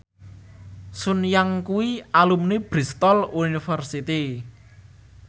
Sun Yang kuwi alumni Bristol university